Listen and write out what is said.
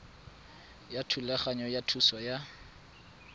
ya thulaganyo ya thuso ya